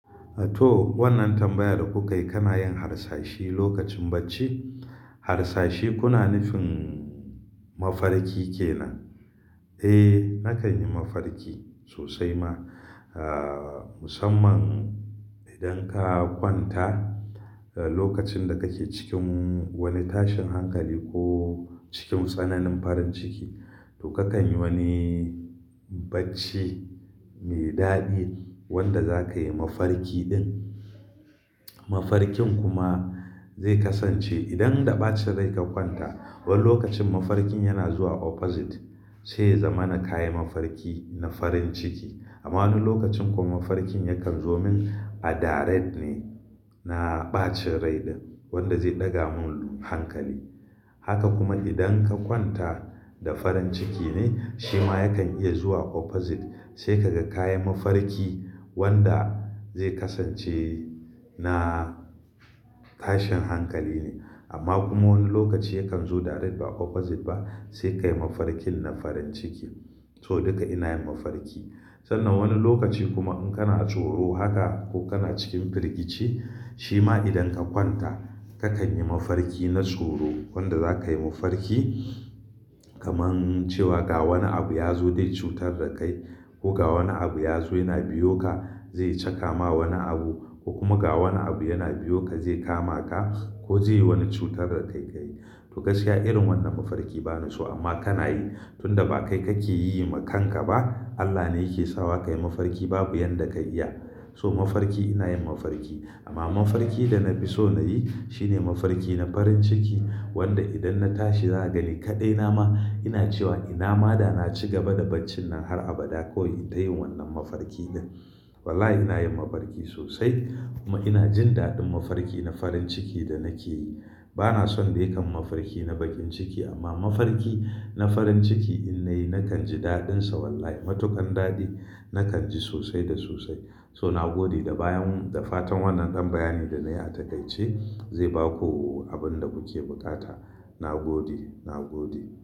Toh wannan tambayar da kukai, kana yin harsashi lokacin bacci? Harsashi kuna nufin mafarki ke nan? Eh nakan yi mafarki sosai ma. Ahh musamman idan ka kwanta lokacin da kake cikin wani tashin hankali ko cikin tsananin farin ciki to ka kan yi wani bacci mai daɗi wanda zakayi mafarki din. Mafarkin kuma zai kasance idan da bacin rai ka kwanta wani lokacin mafarkin yana zuwa opposite, sai ya zamana ka yi mafarki na farin ciki. Amma wani lokacin kuma mafarkin yakan zo min a direct ne na ɓacin rai din wanda zai ɗaga mun hankali. Haka kuma idan ka kwanta da farin ciki ne shi ma yakan iya zuwa opposite sai kaga ka yi mafarki wanda zai kasance na tashin hankali ne. Amma kuma wani lokaci yakan zo direct ba opposite ba sai ka yi mafarkin na farin ciki. So duka ina yin mafarki. Sannan wani lokaci kuma in kana tsoro haka ko kana cikin firgici shi ma idan ka kwanta ka kan yi mafarki na tsoro wanda za ka yi mafarki. Kaman cewa ga wani abu ya zo dai cutar da kai ko ga wani abu ya zo yana biyo ka zai caka ma wani abu ko kuma ga wani abu yana biyo ka zai kama ka ko zai yi wani cutar da kai ka yi. Toh gaskiya irin wannan mafarki bani so amma kana yi tunda ba kai kake yi ma kanka ba Allah ne yake sawa ka yi mafarki babu yanda ka iya. So mafarki ina yin mafarki amma mafarki da na fi so na yi shine mafarki na farin ciki wanda idan na tashi za a gani kaɗai na ma ina cewa ina ma da na ci gaba da bacin nan har abada ko in ita yi wannan mafarki din. Wallahi ina yin mafarki sosai kuma ina jin daɗin mafarki na farin ciki da nake yi. Bana son dai kam mafarki na bakin ciki amma mafarki na farin ciki in na yi nakan ji daɗin sa wallahi matukan daɗi nakan ji sosai da sosai. Ton nagode da bayan da fatan wannan dan bayani da na yi a takaice zai ba ku abin da kuke buƙata. Na gode, na gode.